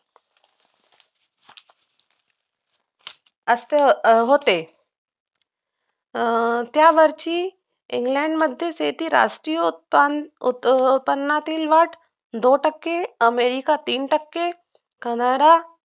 असं होते त्यावर्षी सगळ्यामध्ये येथे राष्ट्रीय उत्पनाचे उत्पनातील भारतीय वाढ दोन टक्के अमेरिका तीन टक्के कॅनडा